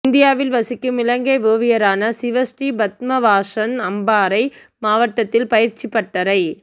இந்தியாவில் வசிக்கும் இலங்கை ஓவியரான சிவஸ்ரீ பத்மவாசன் அம்பாறை மாவட்டத்தில் பயிற்சிப் பட்டறை